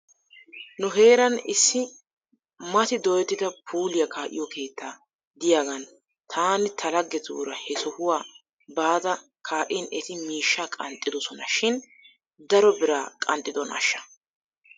Nu heeran issi mati dooyettida puuliyaa kaa'iyoo keetta de'iyaagan taani ta laggetuura he sohuwaa baada kaa'in eti miishshaa qanxxidosona shin daro biraa qanxxidonaashsha?